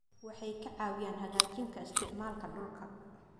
Waxay ka caawiyaan hagaajinta isticmaalka dhulka.